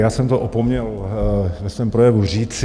Já jsem to opomněl ve svém projevu říci.